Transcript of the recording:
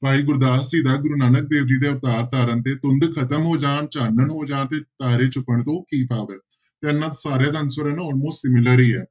ਭਾਈ ਗੁਰਦਾਸ ਜੀ ਦਾ ਗੁਰੂ ਨਾਨਕ ਦੇਵ ਜੀ ਦੇ ਅਵਤਾਰ ਧਾਰਨ ਤੇ ਧੁੰਦ ਖ਼ਤਮ ਹੋ ਜਾਣ, ਚਾਨਣ ਹੋ ਜਾਣ ਤੇ ਤਾਰੇ ਛੁੱਪਣ ਤੋਂ ਕੀ ਭਾਵ ਹੈ, ਤੇ ਇਹਨਾਂ ਸਾਰਿਆਂ ਦਾ answer ਹੈ ਨਾ almost similar ਹੀ ਹੈ।